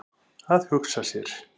Að hugsa sér!